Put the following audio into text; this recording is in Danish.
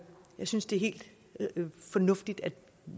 synes det er helt fornuftigt at